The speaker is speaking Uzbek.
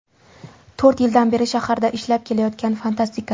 To‘rt yildan beri shaharda ishlab kelayotgan fantastika.